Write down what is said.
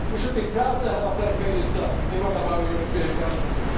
shame. We should be proud to have a black minister in one of our European governments.